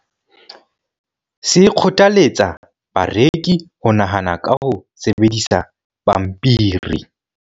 se kgothaletsa bareki ho nahana ka ho sebedisa pampiri